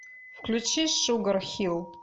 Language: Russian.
включи шугар хилл